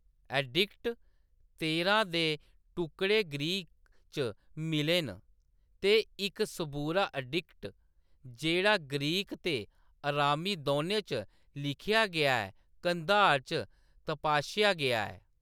Addict तेरां दे टुकड़े ग्रीक च मिले न, ते इक सबूरा एडिक्ट, जेह्‌‌ड़ा ग्रीक ते अरामी दौनें च लिखेआ गेआ ऐ, कंधार च तपाशेआ गेआ ऐ।